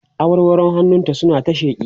awarwaron hannun ta suna ta sheƙi